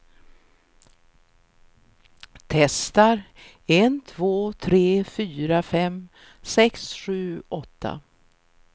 Testar en två tre fyra fem sex sju åtta.